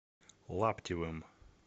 лаптевым